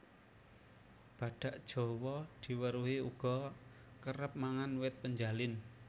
Badhak jawa diweruhi uga kerep mangan wit penjalin